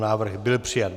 Návrh byl přijat.